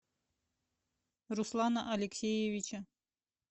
руслана алексеевича